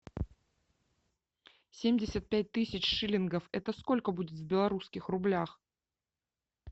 семьдесят пять тысяч шиллингов это сколько будет в белорусских рублях